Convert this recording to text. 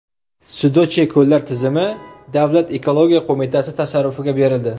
Sudochye ko‘llar tizimi Davlat ekologiya qo‘mitasi tasarrufiga berildi.